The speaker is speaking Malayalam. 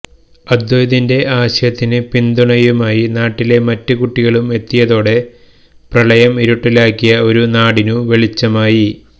അദ്വൈതിന്റെ ആശയത്തിന് പിന്തുണമായി നാട്ടിലെ മറ്റ് കുട്ടികളും എത്തിയതോടെ പ്രളയം ഇരുട്ടിലാക്കിയ ഒരു നാടിന് വെളിച്ചമായി